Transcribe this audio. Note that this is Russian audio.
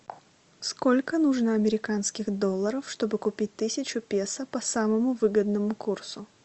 сколько нужно американских долларов чтобы купить тысячу песо по самому выгодному курсу